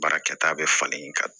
Baarakɛta bɛ falen ka